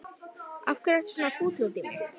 Af hverju ertu svona fúll út í mig?